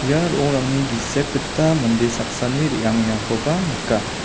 ia ro·ongrangni gisep gita mande saksani re·angengakoba nika.